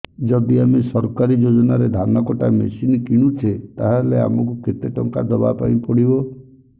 ଯଦି ଆମେ ସରକାରୀ ଯୋଜନାରେ ଧାନ କଟା ମେସିନ୍ କିଣୁଛେ ତାହାଲେ ଆମକୁ କେତେ ଟଙ୍କା ଦବାପାଇଁ ପଡିବ